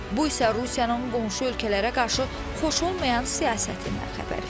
Bu isə Rusiyanın qonşu ölkələrə qarşı xoş olmayan siyasətindən xəbər verir.